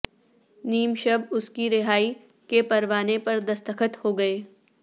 نیم شب اس کی رھایی کے پروانے پر دستخط ہو گئے